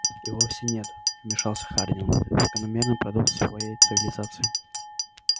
и вовсе нет вмешался хардин закономерный продукт своей цивилизации